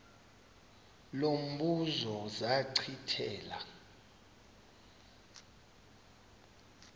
lo mbuzo zachithela